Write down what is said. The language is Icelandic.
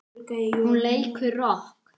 Hún leikur rokk.